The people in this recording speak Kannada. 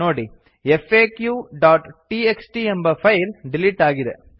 ನೋಡಿ faqಟಿಎಕ್ಸ್ಟಿ ಎಂಬ ಫೈಲ್ ಡಿಲಿಟ್ ಆಗಿದೆ